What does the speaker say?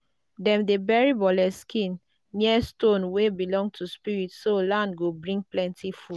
dem dey bury bole skin near stone wey belong to spirits so land go bring plenty food.